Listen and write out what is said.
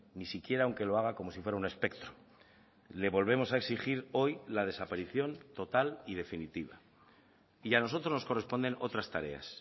ni siquiera aunque lo haga como si fuera un espectro le volvemos a exigir hoy la desaparición total y definitiva y a nosotros nos corresponden otras tareas